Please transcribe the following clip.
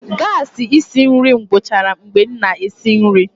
gasi esi nri m gwuchara mgbe m na-esi nri.